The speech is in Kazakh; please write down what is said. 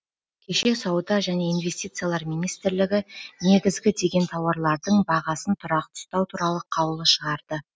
кеше сауда және инвестициялар министрлігі негізгі деген тауарлардың бағасын тұрақты ұстау туралы қаулы шығарды